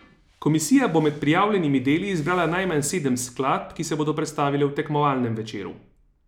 Komisija bo med prijavljenimi deli izbrala najmanj sedem skladb, ki se bodo predstavile v tekmovalnem večeru.